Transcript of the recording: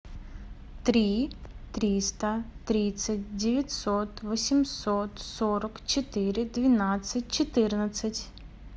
три триста тридцать девятьсот восемьсот сорок четыре двенадцать четырнадцать